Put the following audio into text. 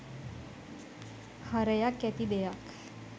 හරයක් ඇති දෙයක්